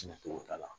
cogo t'a la